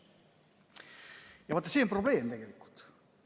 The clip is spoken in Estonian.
Ja vaat see on probleem tegelikult.